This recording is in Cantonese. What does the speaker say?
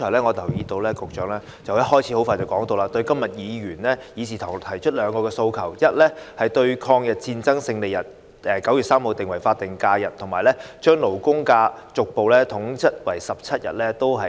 我留意到局長剛才發言時，很快便拒絕今天議事堂提出的兩項訴求：第一，把抗日戰爭勝利日9月3日列為法定假日；第二，把法定假日和公眾假期逐步統一為17天。